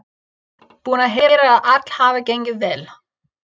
Búin að heyra að allt hafi gengið vel.